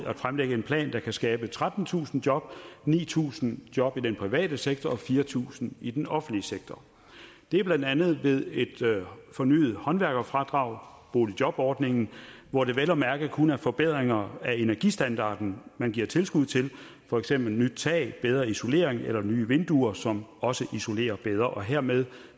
at fremlægge en plan der kan skabe trettentusind job ni tusind job i den private sektor og fire tusind i den offentlige sektor det er blandt andet ved et fornyet håndværkerfradrag boligjobordningen hvor det vel at mærke kun er forbedringer af energistandarden man giver tilskud til for eksempel nyt tag bedre isolering eller nye vinduer som også isolerer bedre og hermed